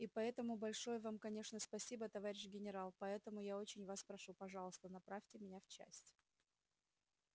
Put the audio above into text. и поэтому большое вам конечно спасибо товарищ генерал поэтому я очень вас прошу пожалуйста направьте меня в часть